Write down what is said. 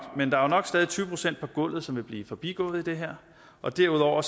men der er nok stadig væk tyve procent på gulvet som vil blive forbigået i det her og derudover